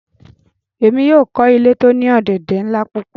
Emi yóò kọ ile ti o ni ọ̀dẹ̀dẹ̀ nla pupọ